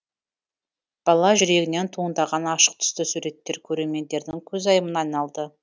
бала жүрегінен туындаған ашық түсті суреттер көрермендердің көзайымына айналды